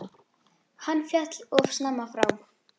Hann féll of snemma frá.